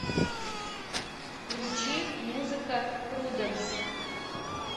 включи музыка пруденс